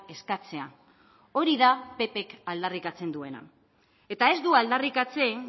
eskatzea hori da ppk aldarrikatzen duena eta ez du aldarrikatzen